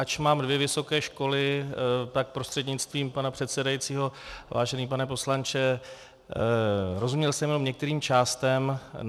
Ač mám dvě vysoké školy, tak prostřednictvím pana předsedajícího, vážený pane poslanče, rozuměl jsem jenom některým částem.